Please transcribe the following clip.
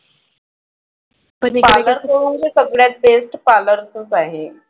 parlour च म्हणजे सगळ्यात best parlor चच आहे.